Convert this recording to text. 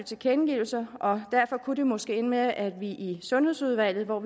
tilkendegivelser og derfor kunne det måske ende med at vi i sundhedsudvalget hvor